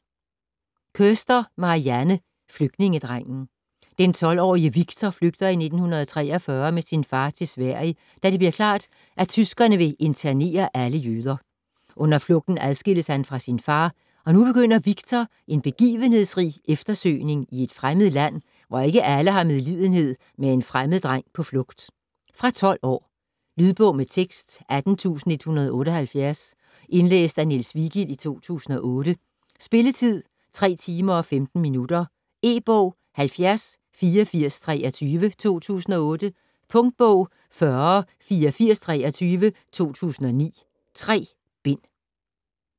Koester, Marianne: Flygtningedrengen Den 12-årige Viktor flygter i 1943 med sin far til Sverige, da det bliver klart, at tyskerne vil internere alle jøder. Under flugten adskilles han fra sin far, og nu begynder Viktor en begivenhedsrig eftersøgning i et fremmed land, hvor ikke alle har medlidenhed med en fremmed dreng på flugt. Fra 12 år. Lydbog med tekst 18178 Indlæst af Niels Vigild, 2008. Spilletid: 3 timer, 15 minutter. E-bog 708423 2008. Punktbog 408423 2009. 3 bind.